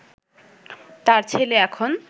তাঁর ছেলে এখন